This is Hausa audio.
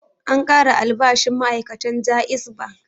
An ƙara albashin ma'ai'katan JAIZ Bank.